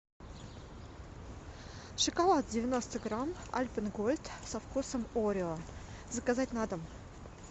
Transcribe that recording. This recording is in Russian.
шоколад девяносто грамм альпен гольд со вкусом орео заказать на дом